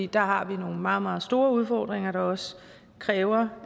der har vi nogle meget meget store udfordringer der også kræver